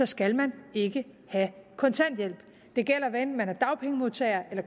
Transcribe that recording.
skal man ikke have kontanthjælp det gælder hvad enten man er dagpengemodtager eller